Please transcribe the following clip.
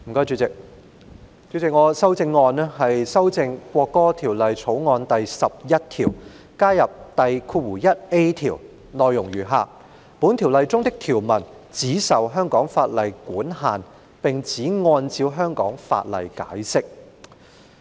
主席，我的修正案是修訂《國歌條例草案》第11條，以加入第條，內容是"本條例中的條文只受香港法例管限並只按照香港法例解釋。